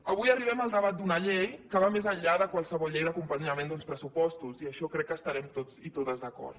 avui arribem al debat d’una llei que va més enllà de qualsevol llei d’acompanyament d’uns pressupostos i en això crec que estarem tots i totes d’acord